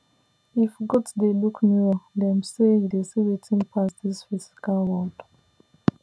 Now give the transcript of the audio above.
if goat dey look mirror dem say e dey see wetin pass this physical world